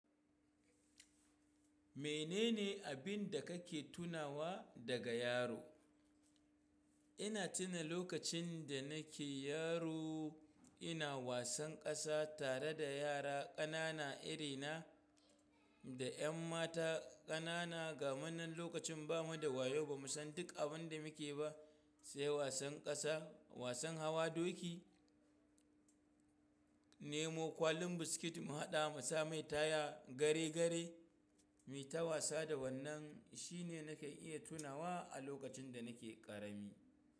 Menene abin da kake tunawa daga yaro? Ina tuna lokacin da nake yaro ina wasan ƙasa tare da yara ƙanana irina da ƴan mata ƙanana, gamu nan lokacin ba mu da wayo ba, mu san duk abin da muke ba sai wasan ƙasa, wasan hawa doki, nemo kwalin biskit mu haɗa musa mai taya gare gare. Muyi ta wasa da wannan shine nake iya tunawa a lokacin da nake ƙarami.